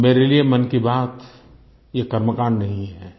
मेरे लिए मन की बात ये कर्मकाण्ड नहीं है